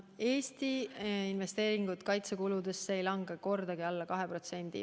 Eesti investeeringud kaitsekuludesse ei lange kordagi alla 2%.